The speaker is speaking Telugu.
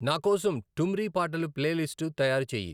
నాకోసం ఠుమ్రీ పాటల ప్లేలిస్టు తయారు చేయి